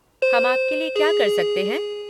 हम आपके लिये क्या कर सकते हैं?